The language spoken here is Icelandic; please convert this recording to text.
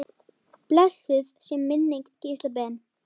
Blessuð sé minning Gísla Ben.